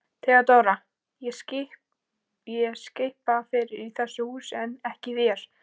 THEODÓRA: Ég skipa fyrir í þessu húsi en ekki þér.